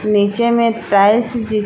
नीचे में टाइल्स